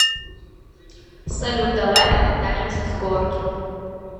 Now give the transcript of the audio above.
салют давай покатаемся с горки